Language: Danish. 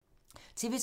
TV 2